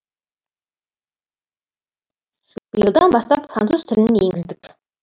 биылдан бастап француз тілін енгіздік